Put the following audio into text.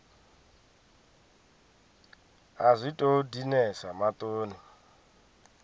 a zwi tou dinesa maṱoni